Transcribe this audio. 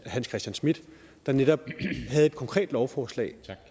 hans christian schmidt der netop havde et konkret lovforslag